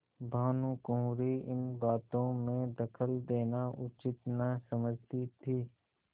भानुकुँवरि इन बातों में दखल देना उचित न समझती थी